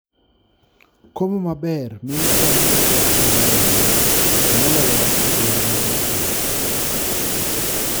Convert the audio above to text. Komo maber miyo cham yudo pi moromo, to moloyo e gwenge motwo.